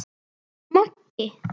Þetta er Maggi!